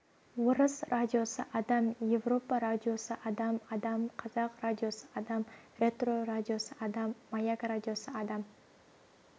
орыс радиосы адам европа радиосы адам адам қазақ радиосы адам ретро радиосы адам маяк радиосы адам